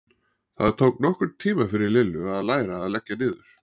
Það tók nokkurn tíma fyrir Lillu að læra að leggja niður.